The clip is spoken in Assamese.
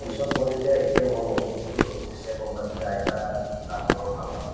পিছত মই যেতিয়া এতিয়া মই হল এতিয়া গম পাইছো যে আইতা নামঘৰৰ ভাল নামতী